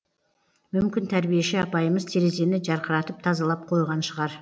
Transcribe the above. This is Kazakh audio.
мүмкін тәрбиеші апайымыз терезені жарқыратып тазалап қойған шығар